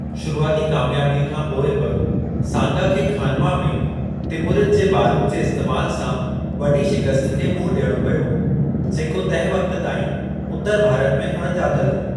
शुरूआती कामियाबीअ खां पोइ बि सांगा खे खानवा में तिमुरिद जे बारूद जे इस्तेमालु सां वॾी शिकस्त खे मुंहुं ॾियणो पियो, जेको तंहिं वक़्त ताईं उतरु भारत में अण ॼातलु हो।